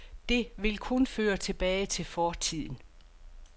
Det vil kun føre tilbage til fortiden.